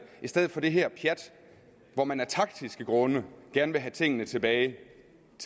i stedet for det her pjat hvor man af taktiske grunde gerne vil have tingene tilbage